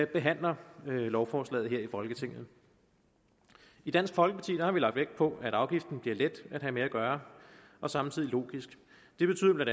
behandler lovforslaget her i folketinget i dansk folkeparti har vi lagt vægt på at afgiften bliver let at have med at gøre og samtidig logisk det betyder bla